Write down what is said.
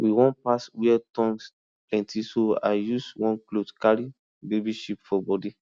we wan pass where thorns plenty so i use one cloth carry baby sheep for body